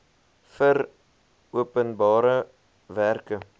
vir openbare werke